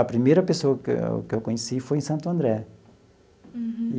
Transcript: A primeira pessoa que eu que eu conheci foi em Santo André. Uhum.